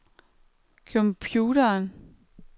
computeren